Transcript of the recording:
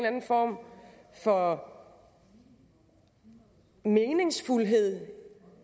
anden form for meningsfuldhed